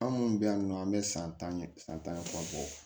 An minnu bɛ yan nɔ an bɛ san tan san tan bɔ